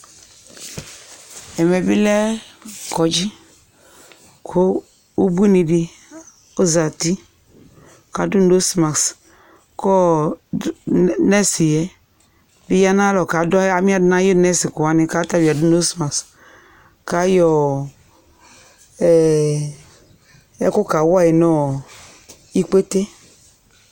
ɛmɛ bi lɛ kɔŋdji ku ubuini di ɔzeti ku adu nɔstmast nɛs yɛ du atamialɔ ku amiadu nu ayu nɔstmast awu yɛ ku ayɔ ɛku kawayi nu ɔ ikpete